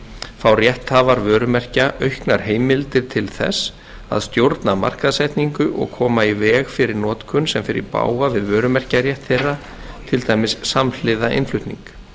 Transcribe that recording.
fá rétthafar vörumerkja auknar heimildir til þess að stjórna markaðssetningu og koma í veg fyrir notkun sem fer í bága við vörumerkjarétt þeirra til dæmis samhliða innflutning